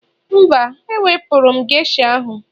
Mba, ewepụrụ m geisha ahụ